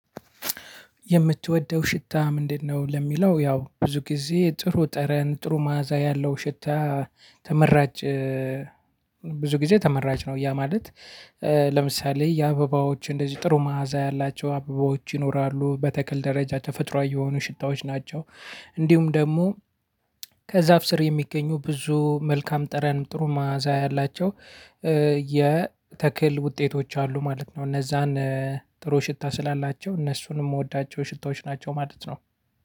የምትወደው ሽታ ምንድነው? ለሚለው ያው ብዙ ጊዜ ጥሩ ጠረን ጥሩ መዓዛ ያለው ሽታ ተመራጭ ብዙ ጊዜ ተመራጭ ነው። ያ ማለት ለምሳሌ የአበባዎች እንደዚህ ጥሩ መዓዛ ያላቸው አበባዎች ይኖራሉ በተክል ደረጃ ተፈጥሮአዊ የሆኑ ሽታዎች ናቸው። እንዲሁም ደግሞ ከዛፍ ስር የሚገኙ ብዙ መልካም ጠረን ጥሩ መዓዛ ያላቸው የተክል ውጤቶች አሉ ማለት ነው። እነዛን ጥሩ ሽታ ስላላቸው እነሱን የምወዳቸው ሽታዎች ናቸው ማለት ነው።